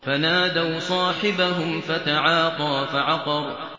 فَنَادَوْا صَاحِبَهُمْ فَتَعَاطَىٰ فَعَقَرَ